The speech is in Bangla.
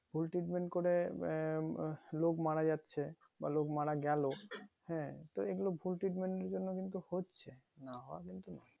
ভুল treatment করে আহ একদম লোক মারা যাচ্ছে বা লোক মারা গেলো হ্যাঁ তো এগুলো ভুল treatment এর জন্য হচ্ছে না হওয়ায় কিন্তু না